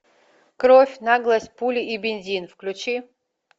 кровь наглость пули и бензин включи